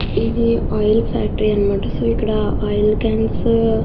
ఇది oil factory అనమాట. So ఇక్కడ ఆయిల్ కాన్స్ --